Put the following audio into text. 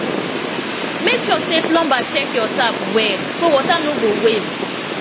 make sure say plumber check your tap well so water no go waste